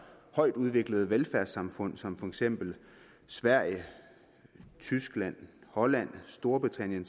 højtudviklede velfærdssamfund som for eksempel sverige tyskland holland og storbritannien